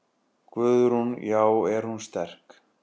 Guðrún: Já er hún sterk?